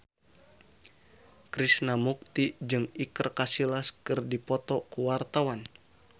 Krishna Mukti jeung Iker Casillas keur dipoto ku wartawan